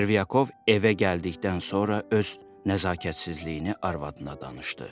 Çervyakov evə gəldikdən sonra öz nəzakətsizliyini arvadına danışdı.